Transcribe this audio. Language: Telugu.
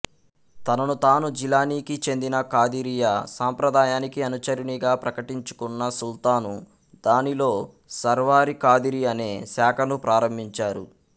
తనను తాను జిలానీకి చెందిన ఖాదిరియా సంప్రదాయానికి అనుచరునిగా ప్రకటించుకున్న సుల్తాన్ దానిలో సర్వారి ఖాదిరి అనే శాఖను ప్రారంభించారు